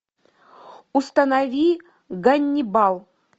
установи ганнибал